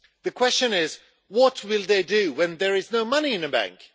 The question is, what will they do when there is no money in the bank?